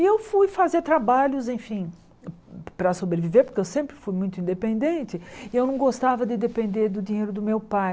E eu fui fazer trabalhos, enfim, para sobreviver, porque eu sempre fui muito independente e eu não gostava de depender do dinheiro do meu pai.